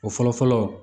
O fɔlɔ fɔlɔ